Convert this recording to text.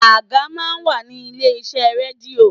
Àga máa ń wà ní ilé iṣẹ́ rédíò.